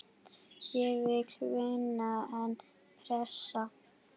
Ég vil vinna, en pressa?